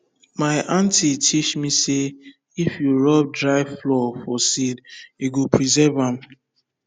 my aunty teach me say if you rub dry flour for seed e go preserve am